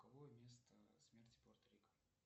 какое место смерти порта рика